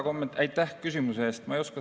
Aitäh küsimuse eest!